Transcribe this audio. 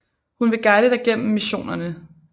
Hun vil guide dig gennem missionerne